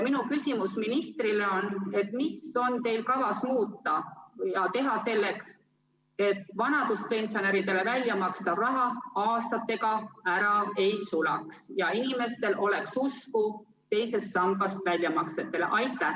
Minu küsimus ministrile on selline: mida on teil kavas muuta ja teha selleks, et vanaduspensionäridele väljamakstav raha aastatega ära ei sulaks ja inimestel oleks usku teisest sambast tehtavatesse väljamaksetesse?